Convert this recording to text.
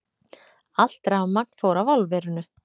Allt rafmagn fór af álverinu